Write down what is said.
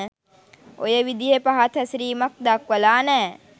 ඔය විදිහෙ පහත් හැසිරීමක් දක්වලා නෑ.